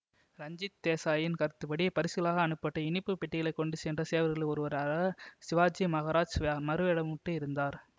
ரஞ்சித் தேசாயின் கருத்துப்படி பரிசுகளாக அனுப்பப்பட்ட இனிப்பு பெட்டிகளைக் கொண்டு சென்ற சேவகர்களில் ஒருவராக சிவாஜி மகராஜ் மறுவேடமிட்டு இருந்தார்